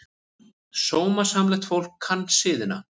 Sómasamlegt fólk kann siðina.